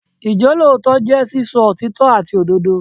Ìjólótòótọ́ jẹ́ sísọ òtítọ́ àti òdodo.